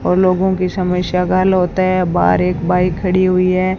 और लोगों की समस्या का हाल होता है बाहर एक बाइक खड़ी हुई है।